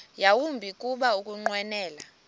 yawumbi kuba ukunqwenela